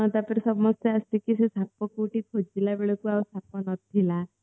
ତାପରେ ସମସ୍ତେ ସେଇ ସାପକୁ ଆସିକି ସେଇ ସାପକୁ କୋଉଠି ଖୋଜିଲା ବେଳକୁ ସେ ସାପ ନଥିଲା